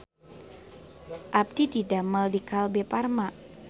Abdi didamel di Kalbe Farma